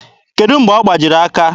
Kedụ mgbe ọ gbajiri aka?